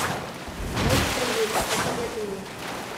монстры юга посоветуй мне